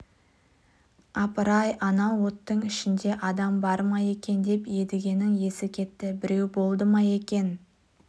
апыр-ай анау оттың ішінде адам бар ма екен деп едігенің есі кетті біреу болды ма екен